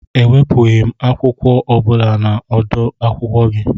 E wepughị m akwụkwọ ọ bụla na odu akwụkwọ gị